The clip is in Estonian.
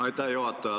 Aitäh, juhataja!